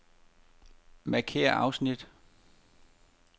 Markér afsnit.